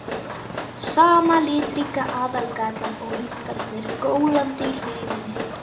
Sama litríka aðalgatan og hundarnir gólandi í hlíðinni.